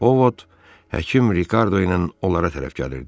Ovod həkim Rikardo ilə onlara tərəf gəlirdi.